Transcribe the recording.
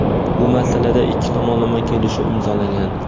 Bu masalada ikki tomonlama kelishuv imzolangan.